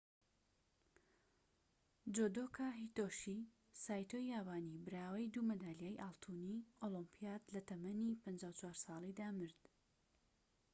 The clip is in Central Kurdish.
جودۆکا هیتۆشی سایتۆی یابانی براوەی دوو مەدالیای ئاڵتوونی ئۆلۆمیپیاد لە تەمەنی ٥٤ ساڵیدا مرد